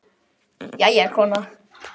Jæja, kona.